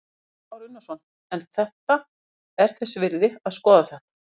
Kristján Már Unnarsson: En þetta er þess virði að skoða þetta?